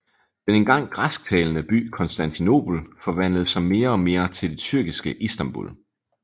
Den engang græsktalende by Konstantinopel forvandlede sig mere og mere til det tyrkiske Istambul